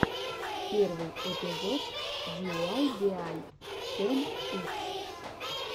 первый эпизод диуайбиай тэн икс